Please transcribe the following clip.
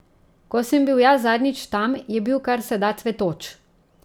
Ko sem bil jaz zadnjič tam, je bil kar se da cvetoč.